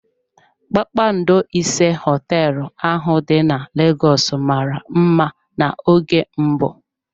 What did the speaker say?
Kpakpando ise hoteelu ahụ dị na Lagos mara mma n'oge mbụ.